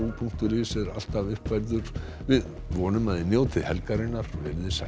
punktur is er alltaf uppfærður vonum að þið njótið helgarinnar veriði sæl